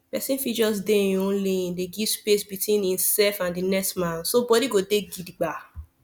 person fit just dey him own lane dey give space between himself and the next man so body go dey gidigba